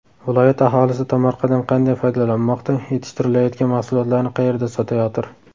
Viloyat aholisi tomorqadan qanday foydalanmoqda, yetishtirilayotgan mahsulotlarni qayerda sotayotir?